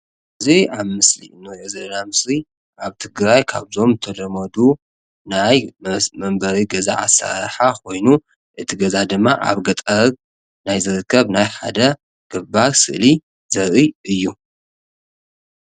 እዚ ኣብ ምስሊ ንሪኦ ዘለና ምስሊ ኣብ ትግራይ ካብዞም ዝተለመዱ ናይ መንበሪ ገዛ ኣሰራርሓ ኮይኑ እቲ ገዛ ድማ ኣብ ገጠር ናይ ዝርከብ ናይ ሓደ ገባር ስእሊ ዘርኢ እዩ ።